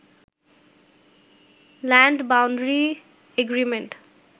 land boundary agreement